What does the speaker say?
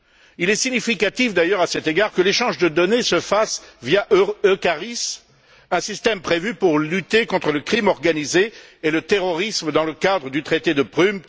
Il est significatif d'ailleurs, à cet égard, que l'échange de données se fasse via EUCARIS, un système prévu pour lutter contre le crime organisé et le terrorisme, dans le cadre du traité de Prum